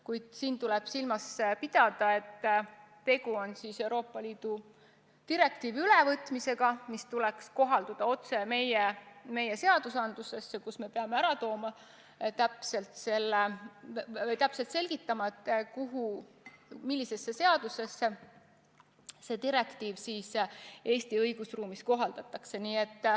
Kuid siin tuleb silmas pidada seda, et Euroopa Liidu direktiivi tuleb üle võtta otse meie seadustesse, ning me peame täpselt selgitama, milliste seaduste puhul seda direktiivi Eesti õigusruumis kohaldatakse.